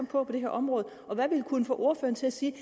på på det her område hvad vil kunne få ordføreren til at sige